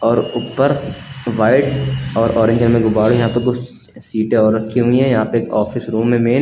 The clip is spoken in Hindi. और ऊपर व्हाइट और ऑरेंज रंग में गुब्बारे हैं तो कुछ सीटें और रखी हुई हैं यहां पे एक ऑफिस रूम है मेन ।